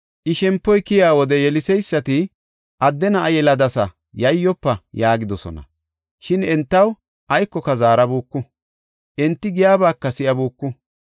I shempoy keyiya wode yeliseysati, “Adde na7a yeladasa; yayyofa” yaagidosona. Shin entaw aykoka zaarabuuku; enti giyabaka si7abuku.